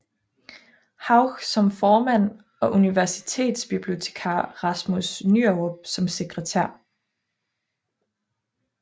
Hauch som formand og universitetsbibliotekar Rasmus Nyerup som sekretær